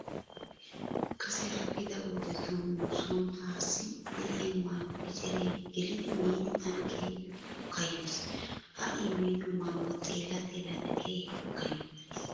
Kase aadhdhida wodetun nu sooni taassi de'iya maayuwa eceree gelidi miidi tana keehippe kayyoyiis. Ha I miido maayuwa xeella xeellada keehippe kayyottayiis.